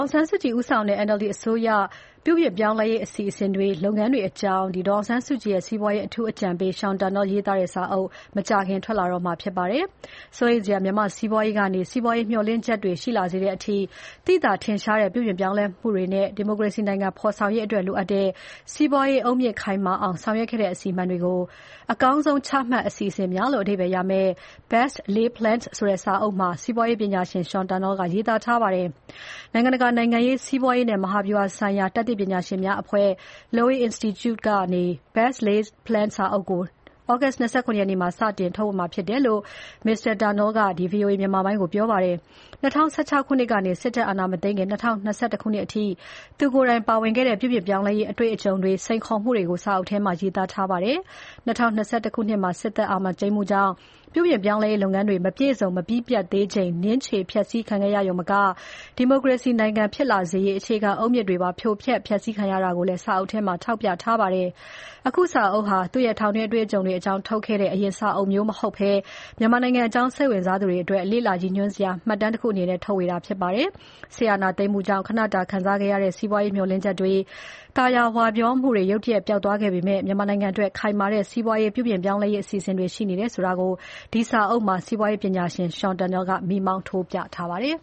င်ဆန်းစုကြည်ဦးဆောင်တဲ့ NLD အစိုးရလက်ထက်လုပ်ခဲ့တဲ့ ပြုပြင်ပြောင်းလဲရေး အစီအစဉ်၊ လုပ်ငန်းတွေအကြောင်း ဒေါ်အောင်ဆန်းစုကြည်ရဲ့ စီးပွားရေး အထူးအကြံပေး Sean Turnell ရေးသားထားတဲ့စာအုပ် မကြာခင်ထွက်လာတော့မှာဖြစ်ပါတယ်။ စိုးရိမ်စရာ မြန်မာ့ စီးပွားရေးကနေ စီးပွားရေး မျှော်လင့်ချက်တွေရှိလာစေတဲ့အထိ သိသာထင်ရှားတဲ့ ပြုပြင်ပြောင်းလဲမှုတွေနဲ့ ဒီမိုကရေစီနိုင်ငံ ဖော်ဆောင်ရေးအတွက်လိုအပ်တဲ့ စီးပွားရေးအုတ်မြစ်ခိုင်မာအောင် ဆောင်ရွက်ခဲ့တဲ့ အစီအမံတွေကို အကောင်းဆုံး ချမှတ် အစီအစဉ်များ လို့ အဓိပ္ပါယ်ရမယ့် Best Laid Plans ဆိုတဲ့ စာအုပ်မှာ စီးပွားရေးပညာရှင် Sean Turnell က ရေးသားထားပါတယ်။ နိုင်ငံတကာ နိုင်ငံရေး၊ စီးပွားရေးနဲ့ မဟာဗျူဟာဆိုင်ရာ တတ်သိပညာရှင်များအဖွဲ့ Lowy Institute ကနေ Best Laid Plans စာအုပ်ကို August လ ၂၇ ရက်နေ့မှာ စတင်ထုတ်ဝေမှာဖြစ်တယ်လို့ Mr. Turnell က VOA မြန်မာပိုင်းကို ပြောပါတယ်။ ၂၀၁၆ ခုနှစ်ကနေ စစ်တပ်အာဏာမသိမ်းခင် ၂၀၂၁ ခုနှစ်အထိ သူကိုယ်တိုင်ပါဝင်ခဲ့တဲ့ ပြုပြင်ပြောင်းလဲရေး အတွေ့အကြုံတွေ၊ စိန်ခေါ်မှုတွေကို စာအုပ်ထဲမှာ ရေးသားထားပါတယ်။ ၂၀၂၁ ခုနှစ်မှာ စစ်အာဏာသိမ်းမှုကြောင့် ပြုပြင်ပြောင်းလဲရေးလုပ်ငန်းတွေ မပြည့်စုံ မပြီးပြတ်သေးချိန် နင်းခြေ ဖျက်စီးခံခဲ့ရယုံမက ဒီမိုကရေစီ နိုင်ငံဖြစ်လာစေရေး အခြေခံအုတ်မြစ်တွေကိုပါ ဖြိုဖျက်ခံလိုက်ရတယ်ဆိုတာကိုလည်း စာအုပ်ထဲမှာ ထောက်ပြထားပါတယ်။ အခုစာအုပ်ဟာ သူ့ရဲ့ထောင်တွင်းအတွေ့အကြုံတွေအကြောင်းထုတ်ခဲ့တဲ့ အရင်စာအုပ်မျိုး မဟုတ်ဘဲ မြန်မာနိုင်ငံအကြောင်း လေ့လာနေသူတွေအတွက် လေ့လာရည်ညွှန်းစရာ မှတ်တမ်းတခုအနေနဲ့ ထုတ်ဝေတာဖြစ်ပါတယ်။ စစ်အာဏာသိမ်းမှုကြောင့် ခဏတာခံစားခဲ့ရတဲ့ စီးပွားရေးမျှော်လင့်ချက်တွေ၊ သာယာဝပြောမှုတွေ ရုတ်တရက် ပျောက်သွားခဲ့ပေမယ့် မြန်မာနိုင်ငံအတွက် ခိုင်မာတဲ့ စီးပွားရေး ပြုပြင်ပြောင်းလဲရေး အစီအစဉ်တွေရှိနေတယ်ဆိုတာကို ဒီစာအုပ်မှာ စီးပွားရေးပညာရှင် Sean Turnell ကမီးမောင်းထိုးပြထားပါတယ်။